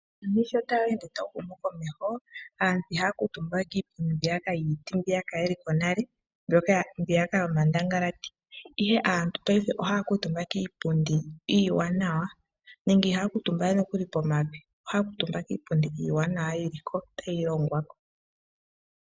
Uuyuni shotawu ende tawu humu komeho aantu ihaya kuutumbawe kiipundi yiiti mbiyaka kwali haya kuutumba nale, mbiyaka yomandangalati ihe aantu ohaya kuutumba kiipundi iiwanawa. Ihaya kuutumbawe pomavi ohaya kuutumba kiipundi iiwanawa yili ko tayi longwa ko